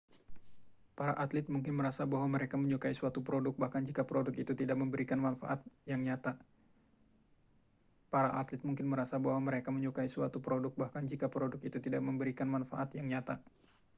para atlet mungkin merasa bahwa mereka menyukai suatu produk bahkan jika produk itu tidak memberikan manfaat yang nyata